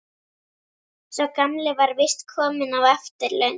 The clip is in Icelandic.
Sá gamli var víst kominn á eftirlaun.